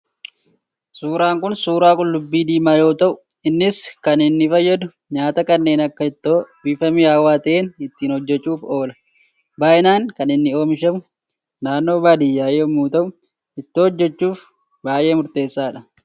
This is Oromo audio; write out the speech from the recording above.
Suuraan kun, suuraa qullubbii diimaa yoo ta'u, innis kan inni fayyadu, nyaata kanneen akka ittoo bifa mi'awaa ta'een ittiin hojjechuuf oola. Bayinaan kan inni oomishamu naannoo baadiyyaa yemmuu ta'u, ittoo hojjechuuf baayyee murteessaadha.